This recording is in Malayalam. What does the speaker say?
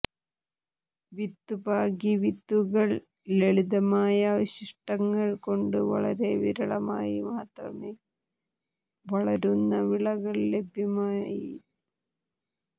വിത്തുപാകി വിത്തുകൾ ലളിതമായ അവശിഷ്ടങ്ങൾ കൊണ്ട് വളരെ വിരളമായി മാത്രം വളരുന്ന വിളകൾ ലഭ്യമായി